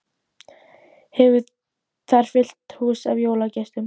Hefur þar fullt hús af jólagestum.